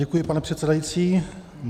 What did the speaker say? Děkuji, pane předsedající.